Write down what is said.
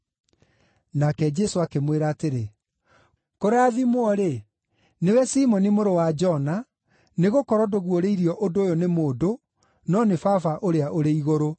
Nake Jesũ akĩmwĩra atĩrĩ, “Kũrathimwo-rĩ, nĩwe Simoni mũrũ wa Jona, nĩgũkorwo ndũguũrĩirio ũndũ ũyũ nĩ mũndũ, no nĩ Baba ũrĩa ũrĩ igũrũ.